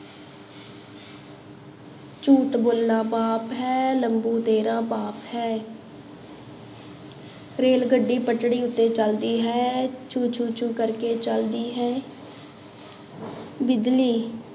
ਝੂਠ ਬੋਲਣਾ ਪਾਪ ਹੈ ਲੰਬੂ ਤੇਰਾ ਬਾਪ ਹੈ ਰੇਲ ਗੱਡੀ ਪੱਟੜੀ ਉੱਤੇ ਚੱਲਦੀ ਹੈ, ਚੂ ਚੂ ਚੂ ਕਰਕੇ ਚੱਲਦੀ ਹੇ ਬਿਜ਼ਲੀ